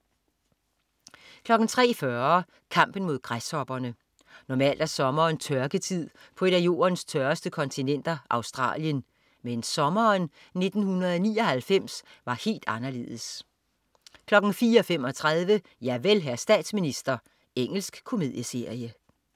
03.40 Kampen mod græshopperne. Normalt er sommeren tørketid på et af jordens tørreste kontinenter, Australien, men sommeren 1999 var helt anderledes 04.35 Javel, hr. statsminister. Engelsk komedieserie